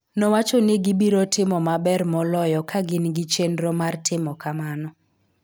Nowacho ni gibiro timo maber moloyo ka gin gi chenro mar timo kamano.